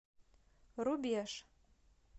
рубеж